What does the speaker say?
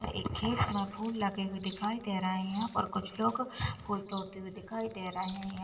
एक खेत में फूल लगे हुए दिखाई दे रहे हैं यहाँ पर कुछ लोग फूल तोड़ते हुए दिखाई दे रहे हैं।